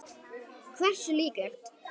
Hversu líklegt?